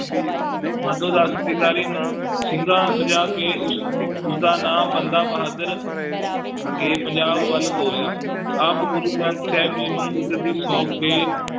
ਮਾਧੋ ਦਾਸ ਵੈਗਾਰੀ ਨੂੰ ਸਿੰਘਾਂ ਸਜਾ ਕੇ ਉਸ, ਉਸਦਾ ਨਾਂ ਬੰਦਾ ਬਹਾਦਰ ਤੇ ਪੰਜਾਬ ਵੱਲ ਤੋਰਿਆ ਆਪ ਗੁਰੂ ਗ੍ਰੰਥ ਸਾਹਿਬ ਜੀ ਨੂੰ ਗੁਰਗੱਦੀ ਸੌਂਪ ਕੇ